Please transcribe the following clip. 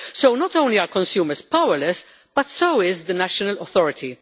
Not only are consumers powerless but so is the national authority.